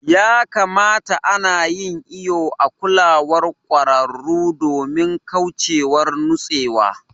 Ya kamata ana yin iƴo a kulawar kwararu domin kauchewar nutsewa.